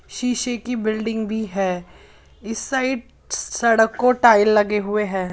शीशे की बिल्डिंग भी है इस साइड सड़क को टाइल लगे हुए हैं।